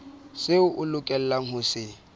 seo o lokelang ho se